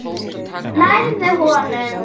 Nærðu honum?